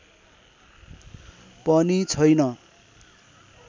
पनि छैन